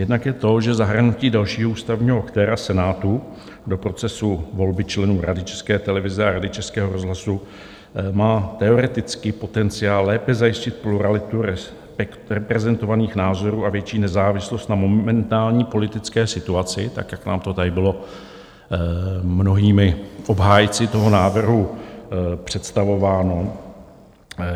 Jednak je to, že zahrnutí dalšího ústavního aktéra, Senátu, do procesu volby členů Rady České televize a Rady Českého rozhlasu má teoreticky potenciál lépe zajistit pluralitu reprezentovaných názorů a větší nezávislost na momentální politické situaci, tak jak nám to tady bylo mnohými obhájci toho návrhu představováno.